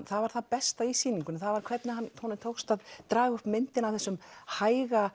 það var það besta í sýningunni það var hvernig honum tókst að draga upp myndina af þessum hæga